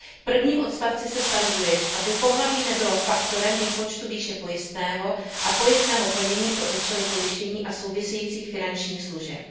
V prvním odstavci se stanovuje, aby pohlaví nebylo faktorem výpočtu výše pojistného a pojistného plnění pro účely pojištění a souvisejících finančních služeb.